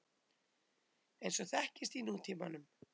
eins og þekkist í nútímanum.